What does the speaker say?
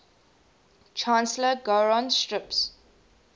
chancellor gowron strips